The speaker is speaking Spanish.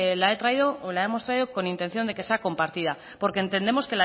la hemos traído con intención de que sea compartida porque entendemos